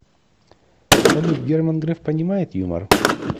салют герман греф понимает юмор